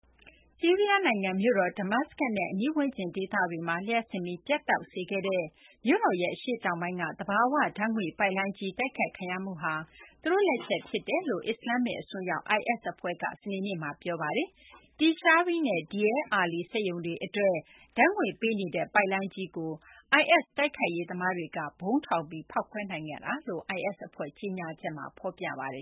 ဆီးရီးယားနိုင်ငံ မြို့တော် Damascus နဲ့ အနီးဝန်းကျင် ဒေသတွေမှာ လျှပ်စစ်မီး ပြတ်တောက်စေခဲ့တဲ့ မြို့တော်ရဲ့ အရှေ့တောင်ပိုင်းက သဘာဝဓာတ်ငွေ့ပိုက်လိုင်းကြီး တိုက်ခိုက်ခံရမှုဟာ သူတို့လက်ချက်ဖြစ်ကြောင်း အစ္စလာမ္မစ် အစွန်းရောက် IS အဖွဲ့က စနေနေ့မှာ ပြောပါတယ်။ Tishreen နဲ့ Deir Ali စက်ရုံတွေအတွက် ဓာတ်ငွေ့ပေးနေတဲ့ ပိုက်လိုင်းကြီးကို IS တိုက်ခိုက်ရေးသမားတွေက ဗုံးထောင်ပြီး ဖောက်ခွဲနိုင်ခဲ့ကြောင်း IS အဖွဲ့ ကြေညာချက်မှာ ဖော်ပြပါတယ